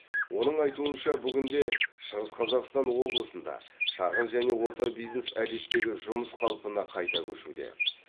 оның айтуынша бүгінде шығыс қазақстан облысында шағын және орта бизнес әдеттегі жұмыс қалпына қайта көшуде